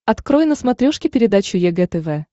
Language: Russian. открой на смотрешке передачу егэ тв